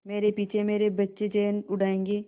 मेरे पीछे मेरे बच्चे चैन उड़ायेंगे